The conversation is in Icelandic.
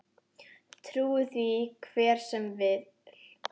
Trúi því hver sem vill.